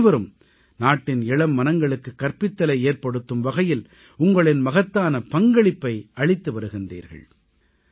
நீங்கள் அனைவரும் நாட்டின் இளம் மனங்களுக்குக் கற்பித்தலை ஏற்படுத்தும் வகையில் உங்களின் மகத்தான பங்களிப்பை அளித்து வருகிறீர்கள்